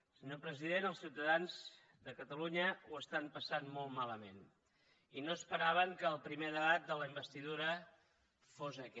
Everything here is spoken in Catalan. senyor president els ciutadans de catalunya ho estan passant molt malament i no esperaven que el primer debat de la investidura fos aquest